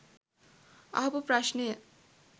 අහපු ප්‍රශ්නය